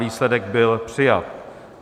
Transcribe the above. Výsledek byl přijat.